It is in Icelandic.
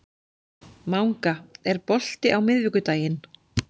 Manga, er bolti á miðvikudaginn?